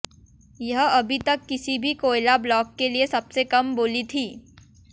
यह अभी तक किसी भी कोयला ब्लॉक के लिए सबसे कम बोली थी